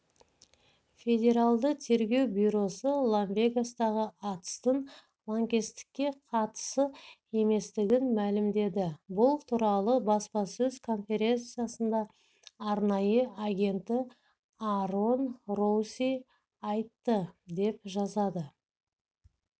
федералды тергеу бюросы лас-вегастағы атыстың лаңкестікке қатысы еместігін мәлімдеді бұл туралы баспасөз конференциясында арнайы агенті аарон роуси айтты деп жазады